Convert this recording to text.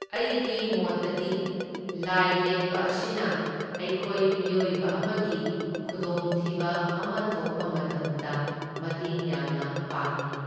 ꯑꯩꯒꯤ ꯃꯣꯠꯇꯗꯤ ꯂꯥꯏ ꯌꯦꯛꯄ ꯑꯁꯤꯅ ꯑꯩꯈꯣꯏ ꯃꯤꯑꯣꯏꯕ ꯑꯃꯒꯤ ꯈꯨꯗꯣꯡ ꯊꯤꯕ ꯑꯃ ꯊꯣꯛꯄ ꯃꯇꯝꯗ ꯃꯇꯦꯡ ꯌꯥꯝꯅ ꯄꯥꯡꯢ꯫